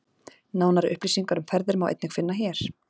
Nánari upplýsingar um ferðir má einnig finna hér.